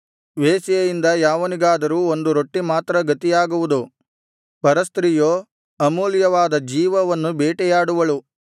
ವೇಶ್ಯೆಯಿಂದ ಯಾವನಿಗಾದರೂ ಒಂದು ರೊಟ್ಟಿ ಮಾತ್ರ ಗತಿಯಾಗುವುದು ಪರಸ್ತ್ರೀಯೋ ಅಮೂಲ್ಯವಾದ ಜೀವವನ್ನು ಬೇಟೆಯಾಡುವಳು